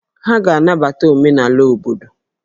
Ha ga-anabata omenala obodo